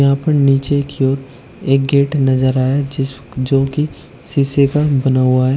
यहां पर नीचे की ओर एक गेट नजर आया जिस जोकि शीशे का बना हुआ--